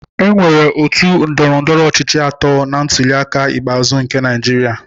Enwere otu ndọrọndọrọ ọchịchị atọ na ntuliaka ikpeazụ nke Naịjirịa.